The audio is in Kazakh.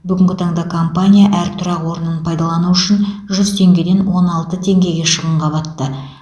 бүгінгі таңда компания әр тұрақ орнын пайдалану үшін жүз теңгеден он алты теңгеге шығынға батты